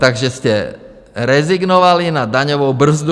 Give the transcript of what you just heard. Takže jste rezignovali na daňovou brzdu.